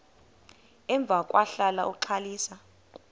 emva kwahlala uxalisa